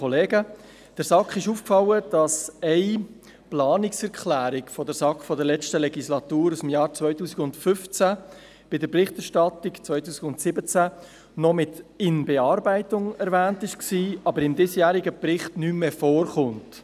Der SAK ist aufgefallen, dass eine Planungserklärung der SAK aus der letzten Legislatur aus dem Jahr 2015 bei der Berichterstattung 2017 noch mit «in Bearbeitung» gekennzeichnet war, aber im diesjährigen Bericht nicht mehr vorkommt.